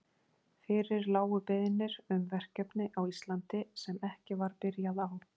Fyrir lágu beiðnir um verkefni á Íslandi, sem ekki var byrjað á.